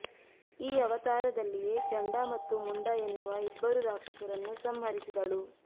ಈ ಅವತಾರದಲ್ಲಿಯೇ ಚಂಡಾ ಮತ್ತು ಮುಂಡಾ ಎನ್ನುವ ಇಬ್ಬರು ರಾಕ್ಷಸರನ್ನು ಸಂಹರಿಸಿದಳು